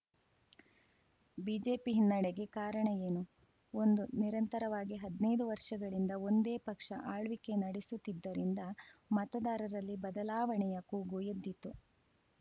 BJP ಹಿನ್ನಡೆಗೆ ಕಾರಣ ಏನು ಒಂದು ನಿರಂತರವಾಗಿ ಹದ್ನೈದು ವರ್ಷಗಳಿಂದ ಒಂದೇ ಪಕ್ಷ ಆಳ್ವಿಕೆ ನಡೆಸುತ್ತಿದ್ದರಿಂದ ಮತದಾರರಲ್ಲಿ ಬದಲಾವಣೆಯ ಕೂಗು ಎದ್ದಿತು